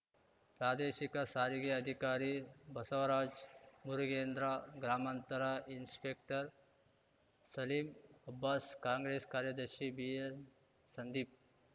ಪ್ರಾದೇಶಿಕ ಸಾರಿಗೆ ಅಧಿಕಾರಿ ಬಸವರಾಜ್‌ ಮುರುಗೇಂದ್ರ ಗ್ರಾಮಾಂತರ ಇನ್ಸ್‌ಪೆಕ್ಟರ್‌ ಸಲೀಂ ಅಬ್ಬಾಸ್‌ ಕಾಂಗ್ರೆಸ್‌ ಕಾರ್ಯದರ್ಶಿ ಬಿಎಂ ಸಂದೀಪ್